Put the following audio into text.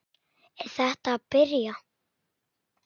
Er þetta að byrja?